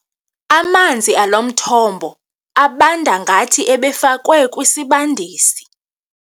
Amanzi alo mthombo abanda ngathi ebefakwe kwisibandisi.